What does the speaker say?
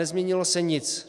Nezměnilo se nic.